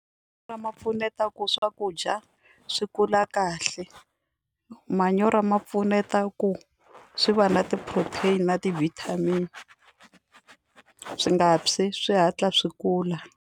ma pfuneta ku swakudya swi kula kahle manyoro ma pfuneta ku swi va na ti-protein na ti-vitamin swi nga tshwi swi hatla swi kula.